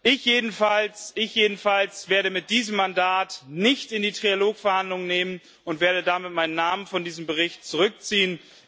Ich jedenfalls werde mit diesem Mandat nicht in die Trilog Verhandlungen gehen und werde damit meinen Namen von diesem Bericht zurückziehen.